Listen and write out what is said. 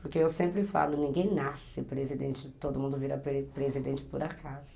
Porque eu sempre falo, ninguém nasce presidente, todo mundo vira presidente por acaso.